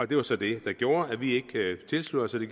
det var så det der gjorde at vi ikke tilsluttede